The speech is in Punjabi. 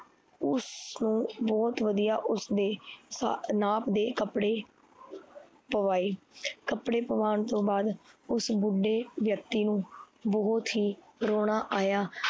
ਉਸਨੂੰ ਬਹੁਤ ਵਧੀਆ ਉਸਦੇ ਨਾਪ ਦੇ ਕੱਪੜੇ ਪਵਾਏ ਕੱਪੜੇ ਪਵਾਣ ਤੋਂ ਬਾਦ ਉਸ ਬੁੱਢੇ ਵਿਅਕਤੀ ਨੂੰ ਬਹੁਤ ਹੀ ਰੋਣਾ ਆਈਆ